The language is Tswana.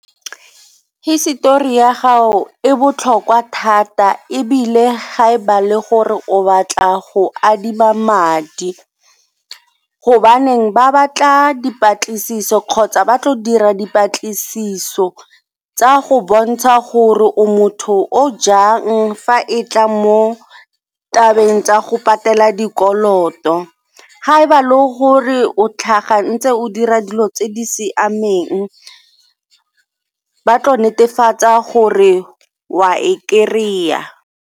Hisetori ya gago e botlhokwa thata ebile ga e ba le gore o batla go adima madi gobaneng ba batla dipatlisiso kgotsa ba tlo dira dipatlisiso tsa go bontsha gore o motho o jang fa e tla mo tabeng tsa go patela dikoloto. Ga e ba le gore o tlhaga o ntse o dira dilo tse di siameng ba tla netefatsa gore o a e kry-a.